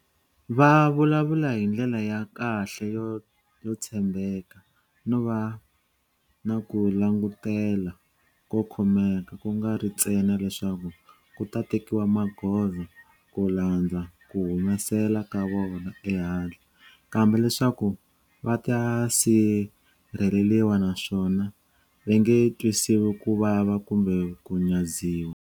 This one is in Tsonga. Va vulavula hi ndlela ya kahle yo tshembeka no va na ku langutela ko khomeka ku nga ri ntsena leswaku ku ta tekiwa magoza ku landza ku humesela ka vona ehandle, kambe leswaku va ta sirheleriwa naswona va nge twisiwi ku vava kumbe ku nyadziwa.